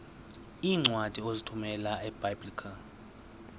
iincwadi ozithumela ebiblecor